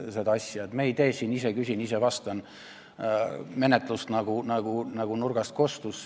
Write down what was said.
Me ei tee siin ise-küsin-ise-vastan-menetlust, nagu nurgast kostis.